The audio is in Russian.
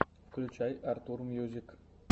включай артур мьюзик